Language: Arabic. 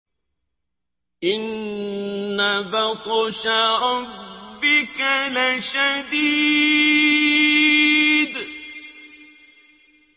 إِنَّ بَطْشَ رَبِّكَ لَشَدِيدٌ